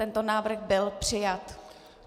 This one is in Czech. Tento návrh byl přijat.